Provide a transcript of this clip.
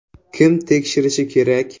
Kim tekshirishi kerak?